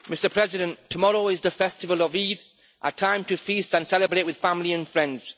Mr President, tomorrow is the festival of Eid, a time to feast and celebrate with family and friends.